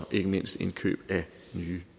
ikke mindst indkøb af nye